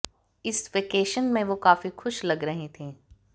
इस वेकेशन में वो काफी खुश लग रहीं थीं